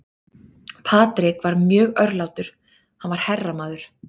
Patrick var mjög örlátur, hann var herramaður.